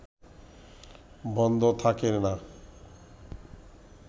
বন্ধ থাকে না